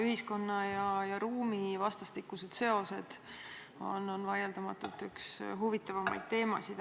Ühiskonna ja ruumi vastastikused seosed on vaieldamatult üks huvitavamaid teemasid.